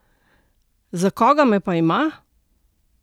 Za koga me pa ima?